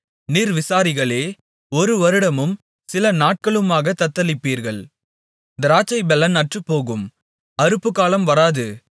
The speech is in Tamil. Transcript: நிர்விசாரிகளே ஒரு வருடமும் சில நாட்களுமாகத் தத்தளிப்பீர்கள் திராட்சைப்பலன் அற்றுப்போகும் அறுப்புக்காலம் வராது